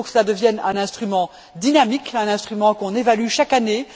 Il faut que cela devienne un instrument dynamique, un instrument qu'on évalue chaque année.